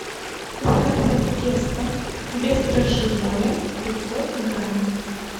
заказать тесто бездрожжевое пятьсот грамм